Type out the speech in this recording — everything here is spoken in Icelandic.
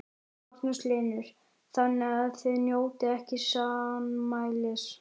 Magnús Hlynur: Þannig að þið njótið ekki sannmælis?